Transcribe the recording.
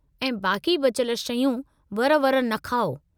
ऐं बाक़ी बचियल शयूं वर-वर न खाओ।